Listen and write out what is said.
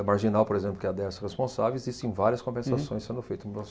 A Marginal, por exemplo, que é a Dersa responsável, existem várias compensações sendo feitas.